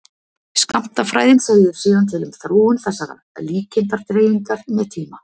Skammtafræðin segir síðan til um þróun þessarar líkindadreifingar með tíma.